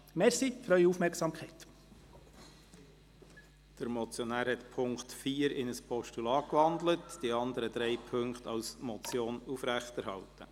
Der Motionär hat den Punkt 4 in ein Postulat gewandelt und die anderen drei Punkte als Motion aufrechterhalten.